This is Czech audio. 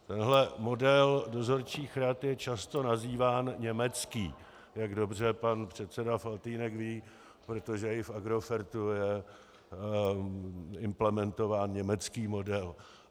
Tenhle model dozorčích rad je často nazýván německý, jak dobře pak předseda Faltýnek ví, protože i v Agrofertu je implementován německý model.